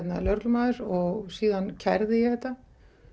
lögreglumaður og síðan kærði ég þetta